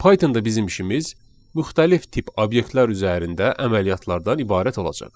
Python-da bizim işimiz müxtəlif tip obyektlər üzərində əməliyyatlardan ibarət olacaq.